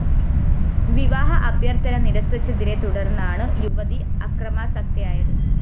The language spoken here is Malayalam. വിവാഹ അഭ്യര്‍ഥന നിര്‍സിച്ചതിനെ തുടര്‍ന്നാണ് യുവതി അക്രമാസക്തയായത്